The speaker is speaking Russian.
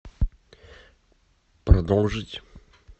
продолжить